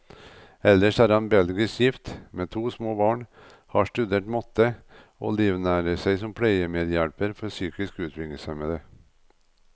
Ellers er han belgisk gift, med to små barn, har studert matte, og livnært seg som pleiemedhjelper for psykisk utviklingshemmede.